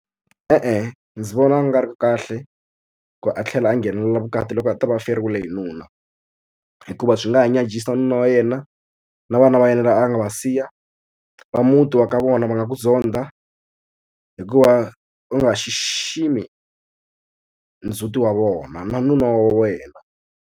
E-e ndzi vona a nga ri ki kahle ku a tlhela a nghenela vukati loko a ta va a feriwile hi nuna hikuva swi nga ha nyadzhisa nuna wa yena na vana va yena a nga va siya va muti wa ka vona va nga ku zonda hikuva u nga xiximi ndzhuti wa vona na nuna wa wena.